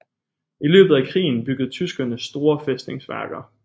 I løbet af krigen byggede tyskerne store fæstningsværker